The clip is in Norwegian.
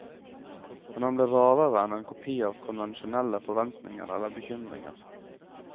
Men han ble rarere enn en kopi av konvensjonelle forventninger eller bekymringer.